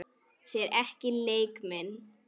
Sér ekki leik minn.